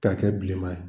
K'a kɛ bilenman ye